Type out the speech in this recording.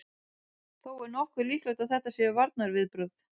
Þó er nokkuð líklegt að þetta séu varnarviðbrögð.